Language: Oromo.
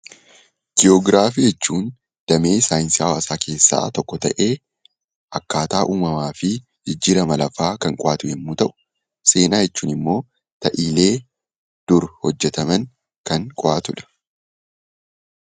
Jiyoogiraafii jechuun damee saayinsii hawaasaa keessaa tokko ta'ee akkaataa uumamaa fi jijjiirama lafaa kan qo'atu yommuu ta'u, seenaa jechuun immoo ta'iilee dur hojjetaman kan qo'atu dha.